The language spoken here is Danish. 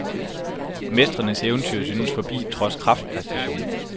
Mestrenes eventyr synes forbi trods kraftpræstation.